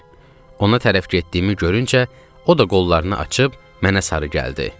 Ona tərəf getdiyimi görüncə, o da qollarını açıb mənə sarı gəldi.